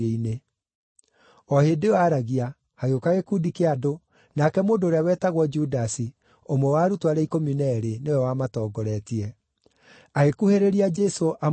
O hĩndĩ ĩyo aragia, hagĩũka gĩkundi kĩa andũ, nake mũndũ ũrĩa wetagwo Judasi, ũmwe wa arutwo arĩa ikũmi na eerĩ, nĩwe wamatongoretie. Agĩkuhĩrĩria Jesũ amũmumunye,